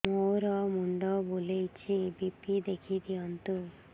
ମୋର ମୁଣ୍ଡ ବୁଲେଛି ବି.ପି ଦେଖି ଦିଅନ୍ତୁ